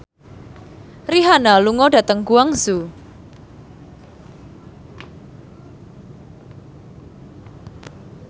Rihanna lunga dhateng Guangzhou